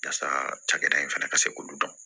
Yasa cakɛda in fana ka se k'olu dɔn